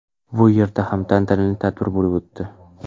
Bu yerda ham tantanali tadbir bo‘lib o‘tdi.